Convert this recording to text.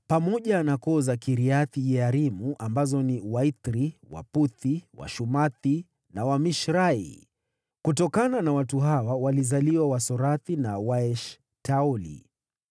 pamoja na koo za Kiriath-Yearimu ambazo ni: Waithiri, Waputhi, Washumathi na Wamishrai. Kutokana na watu hawa walizaliwa Wasorathi na Waeshtaoli.